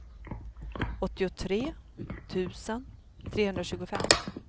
åttiotre tusen trehundratjugofem